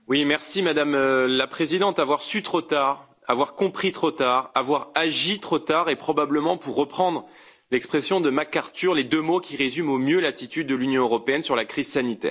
Madame la Présidente, avoir su trop tard, avoir compris trop tard,, avoir agi trop tard, c'est probablement, pour reprendre l'expression de MacArthur, les deux mots qui résument au mieux l'attitude de l'Union européenne sur la crise sanitaire.